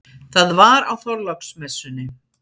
Það var á Þorláksmessunni.